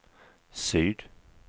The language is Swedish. syd